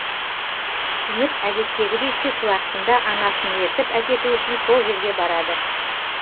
үміт әдеттегідей түс уақытында анасын ертіп әкету үшін сол жерге барады